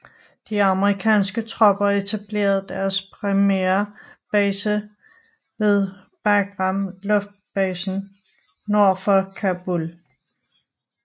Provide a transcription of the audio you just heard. De amerikanske tropper etablerede deres primære base ved Bagram luftbasen nord for Kabul